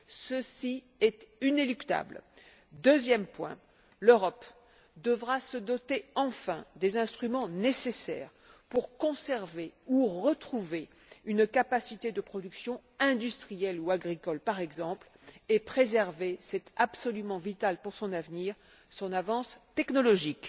Ceci est inéluctable. Deuxième point l'Europe devra enfin se doter des instruments nécessaires pour conserver ou retrouver une capacité de production, industrielle ou agricole par exemple, et préserver c'est absolument vital pour son avenir son avance technologique.